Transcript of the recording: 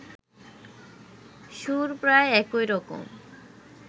সুর প্রায় একইরকম